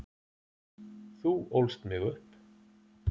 Þú ólst mig upp.